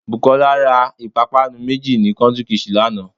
Bùkólá ra ìpápánu méjì ní "country kitchen" lánàá